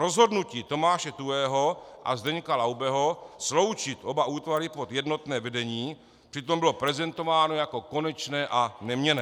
Rozhodnutí Tomáš Tuhého a Zdeňka Laubeho sloučit oba útvary pod jednotné vedení přitom bylo prezentováno jako konečné a neměnné.